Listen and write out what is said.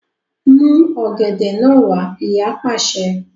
Mú ọ̀gẹ̀dẹ̀ náà wá! Ìyá pàṣẹ.